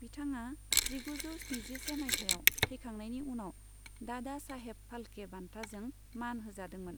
बिथाङा जिगुजौ स्निजिसे माइथायाव थैखांनायनि उनाव दादा साहेब फाल्के बान्थाजों मान होजादोंमोन।